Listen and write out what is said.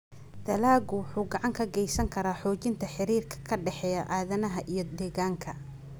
Dalaggu wuxuu gacan ka geysan karaa xoojinta xiriirka ka dhexeeya aadanaha iyo deegaanka.